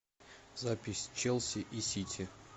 запись челси и сити